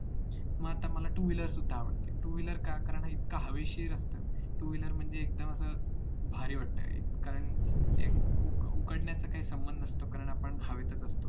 मग आता मला two wheeler सुद्धा आवडते two wheeler का एकदम हवेशीर असतं two wheeler म्हणजे एकदम असं भारी वाटत अं कारण उकडण्याचे काही संबंध नसतो कारण आपण हवेतच असतो